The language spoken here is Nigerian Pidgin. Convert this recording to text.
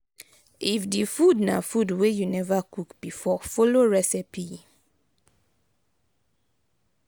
if di food na food wey you never cook before follow recepie